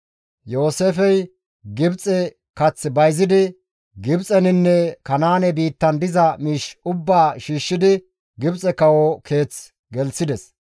Yooseefey Gibxe kath bayzidi Gibxeninne Kanaane biittan diza miish ubbaa shiishshidi Gibxe kawo keeth gelththides.